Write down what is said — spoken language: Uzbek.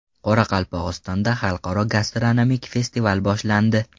Qoraqalpog‘istonda Xalqaro gastronomik festival boshlandi.